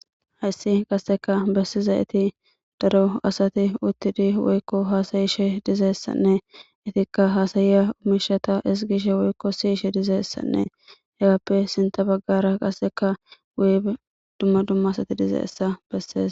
Hayssi qasseka bessizayeti daro asati uttidi woykko haasayishsh dizayssanne itikka haasayiya mishata ezgishshe woykko siyishshe dizayssanne hegappe sintta baggara qasseka wuy dumma dumma asati dizayssa bessees